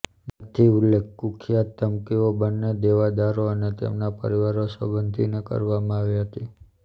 નથી ઉલ્લેખ કુખ્યાત ધમકીઓ બંને દેવાદારો અને તેમના પરિવારો સંબોધીને કરવામાં આવી હતી